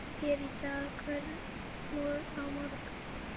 Hér í dag, hvergi á morgun?